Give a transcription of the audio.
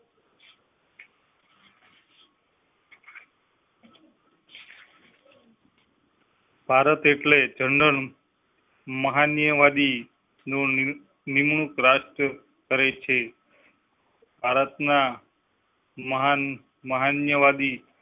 ભારત એટલે મહાનવાદી મહાનવાદી નિ~ નિમણૂક રાષ્ટ્ કરેં છે. ભારતના મહાનવાદી